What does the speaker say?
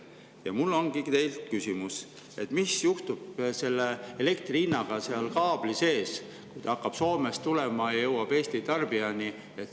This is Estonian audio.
Ja mul ongi teile küsimus: mis juhtub elektri hinnaga kaabli sees, kui ta hakkab Soomest tulema ja jõuab Eesti tarbijani?